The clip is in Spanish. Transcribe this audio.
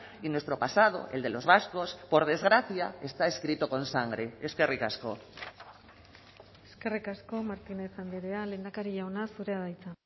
y nuestro pasado el de los vascos por desgracia está escrito con sangre eskerrik asko eskerrik asko martínez andrea lehendakari jauna zurea da hitza